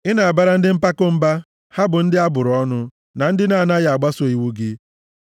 Ị na-abara ndị mpako mba, ha bụ ndị a bụrụ ọnụ na ndị na-anaghị agbaso iwu gị.